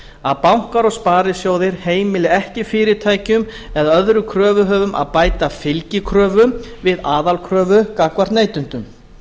að bankar og sparisjóðir heimili ekki fyrirtækjum eða öðrum kröfuhöfum að bæta fylgikröfum við aðalkröfu gagnvart neytendum